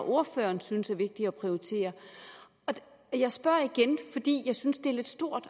ordføreren synes er vigtigt at prioritere jeg spørger igen fordi jeg synes det er lidt stort